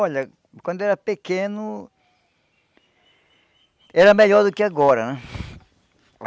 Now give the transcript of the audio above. Olha, quando eu era pequeno, era melhor do que agora né.